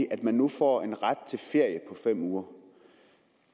at man nu får en ret til ferie på fem uger